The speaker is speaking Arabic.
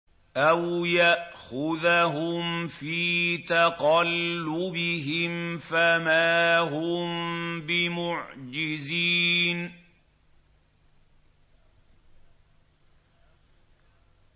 أَوْ يَأْخُذَهُمْ فِي تَقَلُّبِهِمْ فَمَا هُم بِمُعْجِزِينَ